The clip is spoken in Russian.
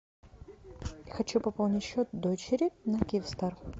хочу пополнить счет дочери на киевстар